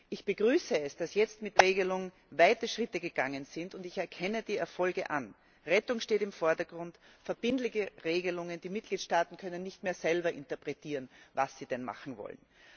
Ich begrüße es, dass jetzt mit dieser neuen Regelung weite Schritte gegangen wurden, und ich erkenne die Erfolge an Rettung steht im Vordergrund, verbindliche Regelungen. Die Mitgliedstaaten können nicht mehr selber interpretieren, was sie denn machen wollen.